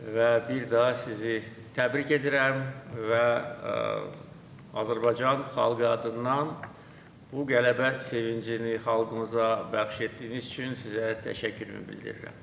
Və bir daha sizi təbrik edirəm və Azərbaycan xalqı adından bu qələbə sevincini xalqımıza bəxş etdiyiniz üçün sizə təşəkkürümü bildirirəm.